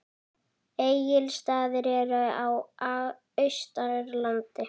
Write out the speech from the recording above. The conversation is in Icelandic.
Egilsstaðir eru á Austurlandi.